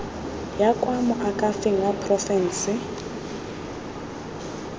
ya kwa moakhaefeng wa porofense